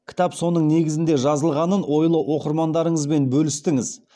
кітап соның негізінде жазылғанын ойлы оқырмандарыңызбен бөлістіңіз